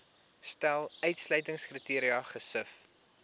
stel uitsluitingskriteria gesif